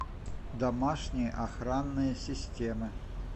домашние охранные системы